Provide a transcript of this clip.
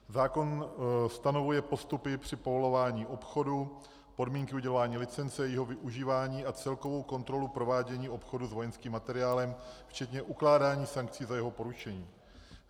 Zákon stanovuje postupy při povolování obchodu, podmínky udělování licence, jejího využívání a celkovou kontrolu provádění obchodu s vojenským materiálem včetně ukládání sankcí za jeho porušení.